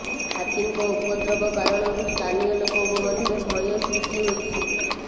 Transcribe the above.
ହାତୀଙ୍କ ଉପଦ୍ରବ କାରଣରୁ ସ୍ଥାନୀୟ ଲୋକଙ୍କ ମଧ୍ୟରେ ଭୟ ସୃଷ୍ଟି ହୋଇଛି